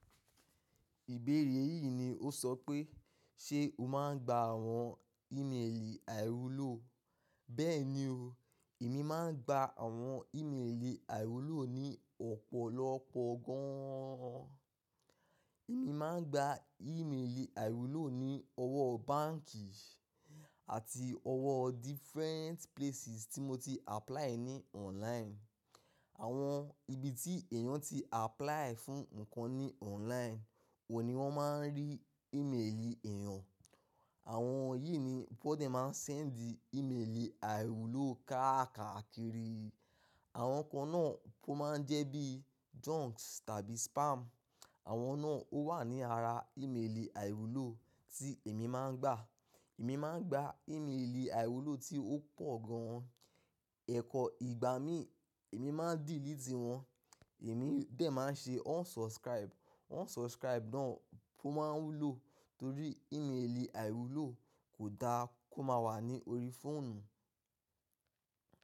Ìbéèrè yìí ni ó sọ pé, ṣe o máa ń gba àwọn ìmelì àìròló? Bẹ́ẹ̀ni o, èmi máa ń gba àwọn ìmelì àìwulo ni ọ̀pọ̀lọpọ̀ gan an. Èmi máa ń gba ìmelì àìwuló ni ọwọ́ báǹkì àti ọwọ́ different places tí mo ti apply ní online. Àwọn ibi tí èèyàn tí apply fún nǹkan ní online, wò ni wọ́n máa ń rí ìmelì èèyàn. Àwọn yìí ni wọ́n de máa ń send ìmelì àìwuló káàkaa kiri. Àwọn kan náà tó máa ń jẹ́ bí junk tàbí spam, àwọn náà ó wà ní ara ìmelì àìwuló tí èmi máa ń gba. Èmi máa ń gba ìmelì àìwuló tí ó pọ̀ gan an. Ẹ̀kọ́ ìgbà mí, èmi máa ń delete wọ́n. Èmi bẹ́ẹ̀ máa ń ṣe unsubscribe. Unsubscribe náà kó máa ń wúlò torí ìmelì àìwuló kò da kó máa wà ní orí fóònù.